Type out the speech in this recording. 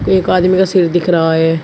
एक आदमी का सिर दिख रहा है।